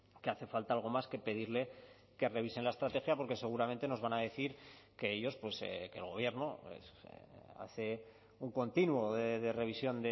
que hace falta algo más que pedirle que revisen la estrategia porque seguramente nos van a decir que ellos que el gobierno hace un continuo de revisión